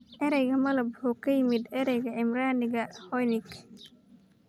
Erayga "malab" wuxuu ka yimid ereyga Cibraaniga "Honig".